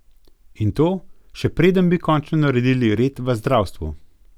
In to, še preden bi končno naredili red v zdravstvu.